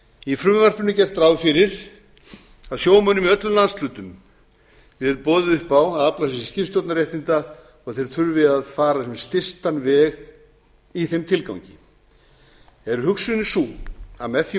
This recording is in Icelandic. í frumvarpinu er gert ráð fyrir að sjómönnum í öllum landshlutum verði boðið upp á að afla sér skipstjórnarréttinda og þeir þurfi að fara sem stystan veg í þeim tilgangi er hugsunin sú að með því